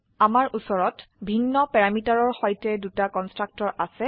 আমাৰ উচৰত ভিন্ন প্যাৰামিটাৰৰ সৈতে দুটা কন্সট্ৰাকটৰ আছে